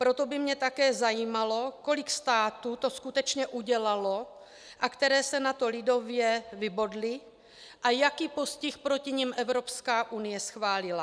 Proto by mě také zajímalo, kolik států to skutečně udělalo a které se na to, lidově, vybodly a jaký postih proti nim Evropská unie schválila.